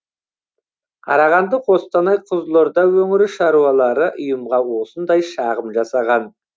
қарағанды қостанай қызылорда өңірі шаруалары ұйымға осындай шағым жасаған